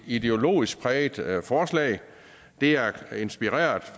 ideologisk præget forslag det er inspireret